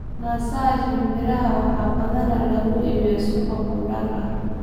Naasaha shinbiraha waxaa badanaa lagu bixiyaa suugo khudaar ah.